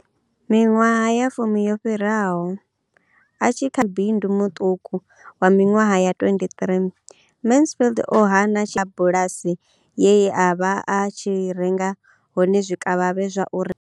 Miṅwaha ya fumi yo fhiraho, a tshi kha ḓi muṱuku wa miṅwaha ya 23, Mansfield o hana bulasi ye a vha a tshi renga hone zwikavhavhe zwa u re.